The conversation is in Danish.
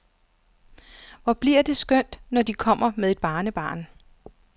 Hvor bliver det skønt, når de kommer med et barnebarn.